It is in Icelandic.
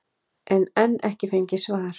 en enn ekki fengið svar.